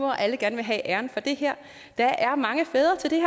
at alle gerne vil have æren for det her der er mange fædre til det